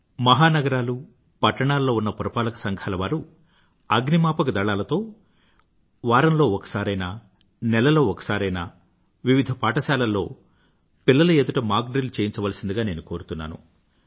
మహానగరాల్లోనూ పట్టణాల్లోని ఉన్న పురపాలక సంఘాలవారు అగ్నిమాపకదళాలతో వారంలో ఒకసారైనా నెలలో ఒకసారైనా వివిధపాఠశాలల్లోని పిల్లల ఎదుట మాక్ డ్రిల్ చేయించవలసిందని నేను కోరుతున్నాను